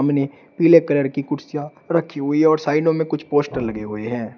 मने पीले कलर कि कुर्सियां रखी हुई है और साइडों में कुछ पोस्टर लगे हुए हैं।